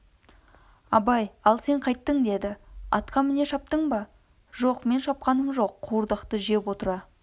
абай ал сен қайттің деді атқа міне шаптыңыз ба жоқ мен шапқаным жоқ қуырдақты жеп отыра